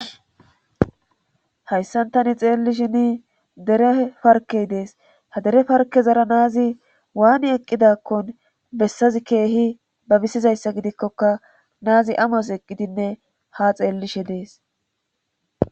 Hayssan tani xeellishini dere parkey dees ha dere parke zara naazi waani eqqidakkon bessazi keehi babisizayssa gidikkoka naazi amos eqqidinne ha xeellishe dees